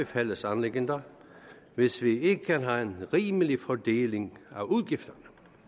fællesanliggender hvis vi ikke har en rimelig fordeling af udgifterne